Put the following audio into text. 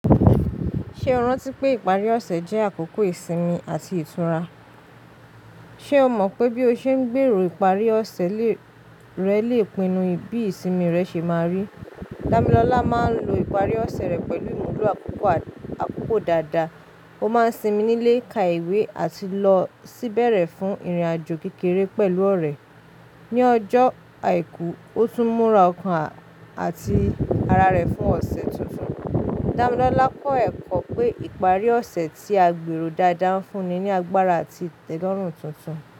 Ṣé o rántí pé ìparí ọ̀sẹ̀ jẹ́ àkókò ìsinmi àti ìtura? Ṣé o mọ̀ pé bí o ṣe ń gbèrò ìparí ọ̀sẹ̀ rẹ lè pinnu bí ìsinmi rẹ ṣe máa rí? Dámilọ́lá máa ń lo ìparí ọ̀sẹ̀ rẹ̀ pẹ̀lú ìmúlo àkókò dáadáa. Mo máa ń sinmi nílé, ka ìwé, àti lọ sí bẹ̀rẹ̀ fún ìrìnàjò kékeré pẹ̀lú ọ̀rẹ́. Ni ọjọ́ àìkú, ó tún múra ọkàn àti ara rẹ̀ fún ọ̀sẹ̀ tuntun. Dámilọ́lá kọ́ ẹ̀kọ́ pé ìparí ọ̀sẹ̀ tí a gbèrò dáadáa ń fún ni ní agbára àti ìtẹ́lọ́rùn tuntun.